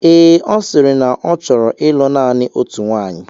Ee, ọ sịrị na ọ ọ chọrọ ịlụ naanị otu nwaanyị.